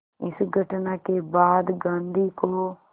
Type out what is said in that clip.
इस घटना के बाद गांधी को